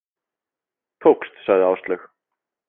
Tókst, sagði Áslaug.